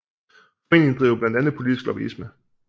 Foreningen driver blandt andet politisk lobbyisme